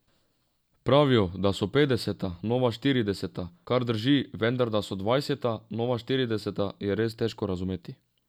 Pravijo, da so petdeseta nova štirideseta, kar drži, vendar da so dvajseta nova štirideseta, je res težko razumeti.